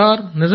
అవును సార్